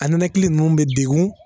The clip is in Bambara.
A nɛnɛkili ninnu bɛ degun